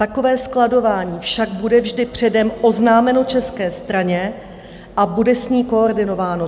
Takové skladování však bude vždy předem oznámeno české straně a bude s ní koordinováno.